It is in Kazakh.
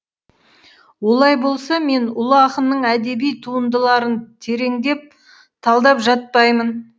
олай болса мен ұлы ақынның әдеби туындыларын тереңдеп талдап жатпаймын